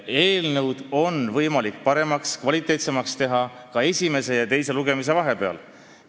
Eelnõu on võimalik paremaks, kvaliteetsemaks teha ka esimese ja teise lugemise vahepeal.